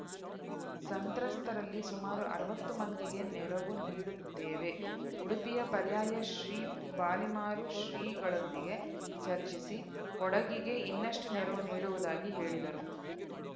ಸಂತ್ರಸ್ತರಲ್ಲಿ ಸುಮಾರು ಅರವತ್ತು ಮಂದಿಗೆ ನೆರವು ನೀಡಿರುತ್ತೇವೆ ಉಡುಪಿಯ ಪರ್ಯಾಯ ಶ್ರೀ ಪಲಿಮಾರು ಶ್ರೀಗಳೊಂದಿಗೆ ಚರ್ಚಿಸಿ ಕೊಡಗಿಗೂ ಇನ್ನಷ್ಟುನೆರವು ನೀಡುವುದಾಗಿ ಹೇಳಿದರು